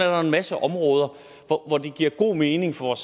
jo en masse områder hvor det giver god mening for